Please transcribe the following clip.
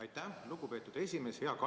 Aitäh, lugupeetud esimees!